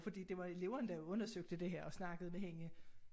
Fordi det var eleverne der undersøgte det her og snakkede med hende